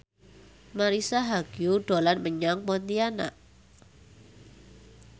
Marisa Haque dolan menyang Pontianak